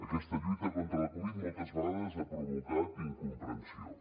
aquesta lluita contra la covid moltes vegades ha provocat incomprensió